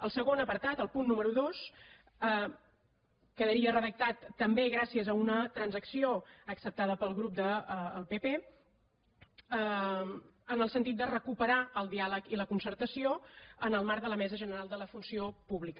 el segon apartat el punt número dos quedaria redactat també gràcies a una transacció acceptada pel grup del pp en el sentit de recuperar el diàleg i la concertació en el marc de la mesa general de la funció pública